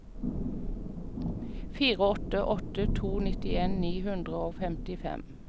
fire åtte åtte to nittien ni hundre og femtifem